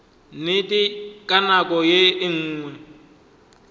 nnete ka nako ye nngwe